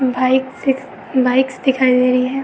Bike bike दिखाई दे रही हैं।